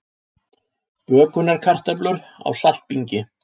Bökunarkartöflur á saltbingi